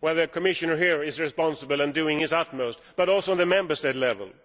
where the Commissioner here is responsible and doing his utmost, but also at the Member State level.